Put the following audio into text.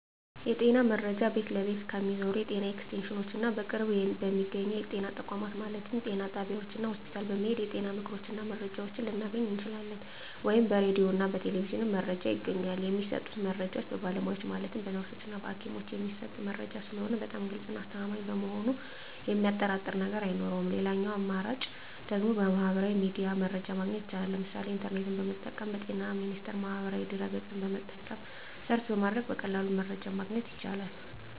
የጤና መረጃ ቤት ለቤት ከሚዞሩት የጤና ኤክስቴንሽኖች እና በቅርብ በሚገኙ የጤና ተቋማት ማለትም ጤና ጣቢያዎች እና ሆስፒታል በመሔድ የጤና ምክሮችን እና መረጃዎችን ልናገኝ እንችላለን። ወይም ደግሞ በራዲዮ እና በቴሌቪዥንም መረጃ ይገኛል። የሚሰጡት መረጃዎች በባለሙያዎች ማለትም በነርሶች እና በሀኪሞች የሚሰጥ መረጂ ስለሆነ በጣም ግልፅ እና አስተማማኝ በመሆኑ የሚያጠራጥር ነገር አይኖረውም ሌላኛው አማራጭ ደግሞ በሚህበራዊ ሚዲያ መረጃ ማግኘት ይቻላል ለምሳሌ ኢንተርኔትን በመጠቀም በጤና ሚኒስቴር ማህበራዊ ድህረ ገፅን በመጠቀም ሰርች በማድረግ በቀላሉ መረጃን ማግኘት ይቻላል።